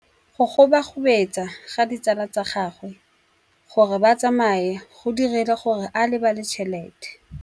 Go gobagobetsa ga ditsala tsa gagwe, gore ba tsamaye go dirile gore a lebale tšhelete.